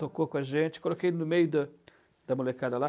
Tocou com a gente, coloquei no meio da da molecada lá.